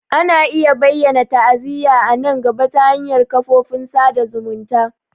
Ana iya bayyana ta'aziyya a nan gaba ta hanyar kafofin sada zumunta.